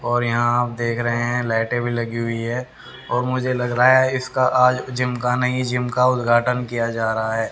और यहां आप देख रहे हैं लाइटें भी लगी हुई है और मुझे लग रहा है इसका आज जिम का नई जिम का उदघाट्न किया जा रहा है।